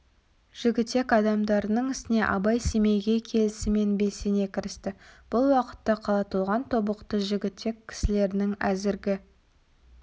жігітек адамдарының ісіне абай семейге келісімен белсене кірісті бұл уақытта қала толған тобықты жігітек кісілерінің әзіргі